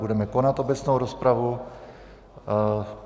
Budeme konat obecnou rozpravu.